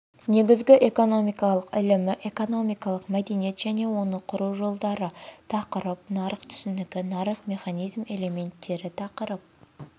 негізгі экономикалық ілімі экономикалық мәдениет және оны құру жолдары тақырып нарық түсінігі нарықтық механизм элементтері тақырып